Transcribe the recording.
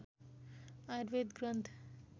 Ayurveda Granth